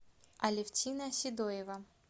алевтина седоева